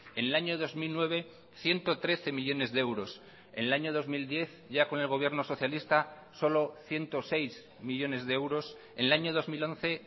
en el año dos mil nueve ciento trece millónes de euros en el año dos mil diez ya con el gobierno socialista solo ciento seis millónes de euros en el año dos mil once